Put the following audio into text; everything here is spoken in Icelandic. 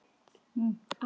Ekki beint